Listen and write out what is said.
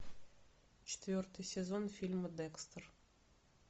четвертый сезон фильма декстер